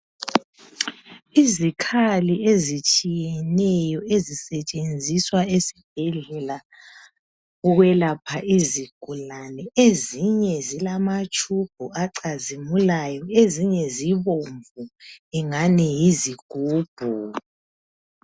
Izikhali ezitshiyeneyo ezisetshenziswa esibhedlela ukwelapha izigulane ezinye zilamathubhu acazimulayo ezinye zibomvu kungani yizigubhu.